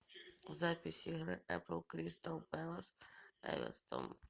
запись игры апл кристал пэлас эвертон